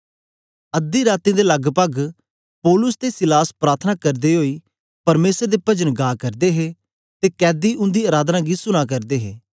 अध्दी रातीं दे लगपग पौलुस ते सीलास प्रार्थना करदे ओई परमेसर दे पजन गा करदे हे ते कैदी उन्दी राधना गी सुना करदे हे